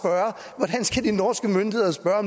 at de norske myndigheder spørge